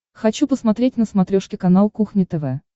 хочу посмотреть на смотрешке канал кухня тв